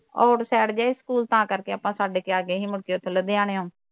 outside ਜਿਹਾ ਸੀ school ਤਾਂ ਕਰਕੇ ਆਪਾਂ ਛੱਡ ਕੇ ਆ ਗਏ ਸੀ ਮੁੜ ਕੇ ਉੱਥੋ ਲੁਧਿਆਣੋਂ